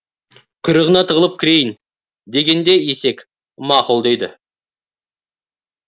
құйрығыңа тығылып кірейін дегенде есек мақұл дейді